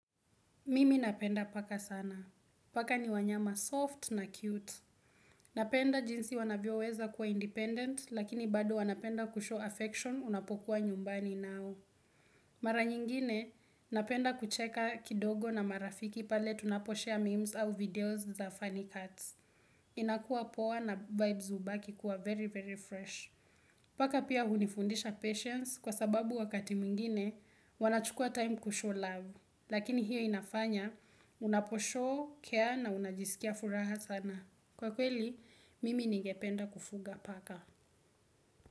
Mimi napenda paka sana. Paka ni wanyama soft na cute. Napenda jinsi wanavyoweza kuwa independent, lakini bado wanapenda kushow affection unapokuwa nyumbani nao. Mara nyingine, napenda kucheka kidogo na marafiki pale tunaposhare memes au videos za funny cuts. Inakuwa poa na vibes hubaki kuwa very very fresh. Paka pia hunifundisha patience kwa sababu wakati mwingine, wanachukua time kushow love. Lakini hiyo inafanya, unaposhow, care na unajiskia furaha sana. Kwa kweli, mimi ningependa kufuga paka.